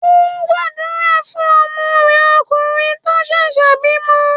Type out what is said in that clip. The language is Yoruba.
Ó ń gbàdúrà fún ọmọ rẹ̀ okùnrin tó ṣẹ̀ṣẹ̀ bímọ.